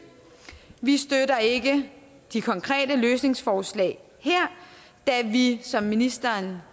vi støtter ikke de konkrete løsningsforslag her da vi som ministeren